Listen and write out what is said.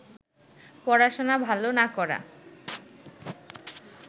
পড়াশোনা ভালো না করা